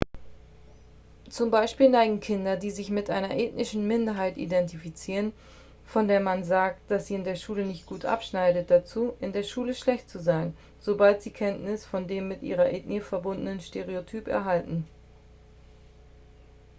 zum beispiel neigen kinder die sich mit einer ethnischen minderheit identifizieren von der man sagt dass sie in der schule nicht gut abschneidet dazu in der schule schlecht zu sein sobald sie kenntnis von dem mit ihrer ethnie verbundenen stereotyp erhalten